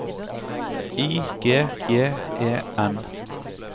I G J E N